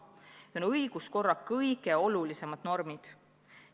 Need on õiguskorra kõige olulisemad normid.